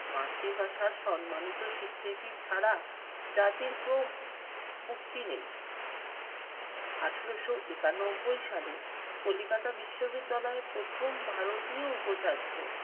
মাতৃভাষার সম্মানিত স্বীকৃতি ছাড়া জাতির ক্রোম মুক্তি নেই। আঠারশো একানব্বই সালে কলিকাতা বিশ্ববিদ্যালয়ে প্রথম ভারতীয় উপচার্য